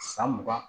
San mugan